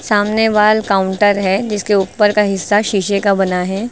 सामने वाल काउंटर है जिसके ऊपर का हिस्सा शीशे का बना है।